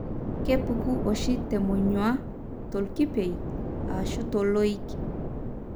kepuku oshi temonyua, tolkipiei, ashu toloik.